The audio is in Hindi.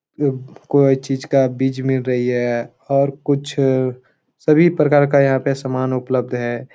उम्म कोई चीज़ का बीज मिल रही है और कुछ अ सभी प्रकार का यहां पे सामान उपलब्ध है।